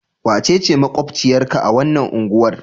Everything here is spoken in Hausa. Wace ce maƙwabciyarka a wannan unguwar?